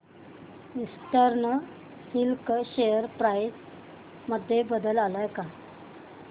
eastern silk share price मध्ये बदल आलाय का